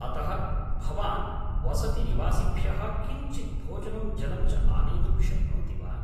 अतः, भवान् वसतिनिवासिभ्यः किञ्चित् भोजनं जलं च आनेतुं शक्नोति वा?